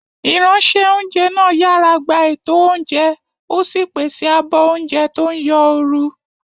Ìránṣẹ́-oúnjẹ náà yàrá gba ètò oúnjẹ, ó sì pèsè àbọ̀ oúnjẹ tó ń yọ ooru.